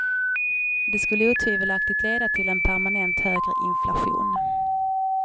Det skulle otvivelaktigt leda till en permanent högre inflation.